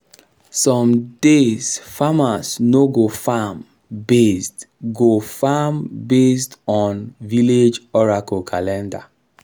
some days farmers no go farm based go farm based on village oracle calendar